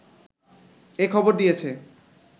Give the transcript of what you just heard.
এ খবর দিয়েছে